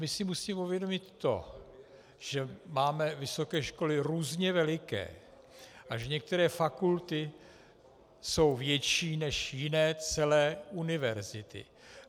My si musíme uvědomit to, že máme vysoké školy různě veliké a že některé fakulty jsou větší než jiné celé univerzity.